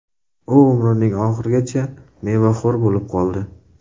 U umrining oxirigacha mevaxo‘r bo‘lib qoldi.